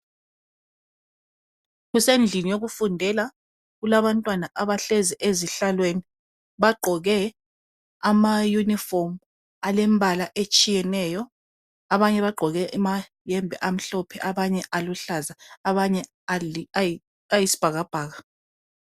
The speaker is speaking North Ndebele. Kusendlini yokufundela . Kulabantwana abahlezi ezihlalweni, bagqoke amayunifomu alembala etshiyeneyo. Abanye bagqoke amayembe amhlophe , abanye aluhlaza, abanye ayisibhakabhaka.